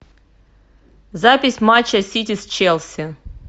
запись матча сити с челси